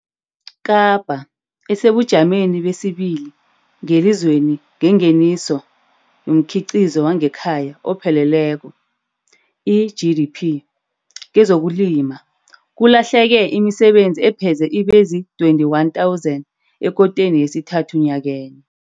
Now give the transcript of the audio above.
Kapa, esebujameni besibili ngelizweni ngengeniso yomKhiqizo wangeKhaya oPheleleko, i-GDP, kezokulima, kulahleke imisebenzi epheze ibezii-21 000 ekoteni yesithathu nyakenye.